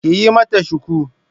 Ki yi mata shuku!